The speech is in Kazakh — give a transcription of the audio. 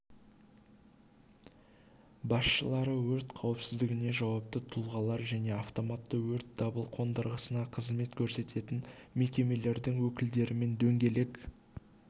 басшылары өрт қауіпсіздігіне жауапты тұлғалар және автоматты өрт дабыл қондырғысына қызмет көрсететін мекемелердің өкілдерімен дөңгелек